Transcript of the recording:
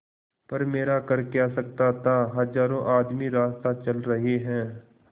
पर मेरा कर क्या सकता था हजारों आदमी रास्ता चल रहे हैं